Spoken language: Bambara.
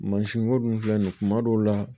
Mansinko dun filɛ nin ye kuma dɔw la